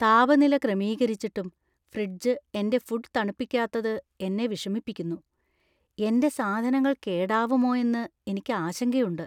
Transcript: താപനില ക്രമീകരിച്ചിട്ടും ഫ്രിഡ്ജ് എന്‍റെ ഫുഡ് തണുപ്പിക്കാത്തത് എന്നെ വിഷമിപ്പിക്കുന്നു, എന്‍റെ സാധനങ്ങൾ കേടാവുമോ എന്ന് എനിക്ക് ആശങ്കയുണ്ട്.